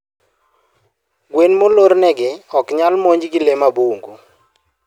Gwen molornegi oknyal monj gi lee mabungu